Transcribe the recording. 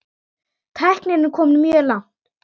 Tæknin er komin mjög langt.